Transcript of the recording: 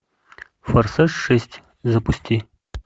форсаж шесть запусти